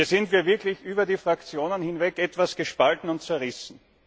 Hier sind wir wirklich über die Fraktionen hinweg etwas gespalten und zerrissen.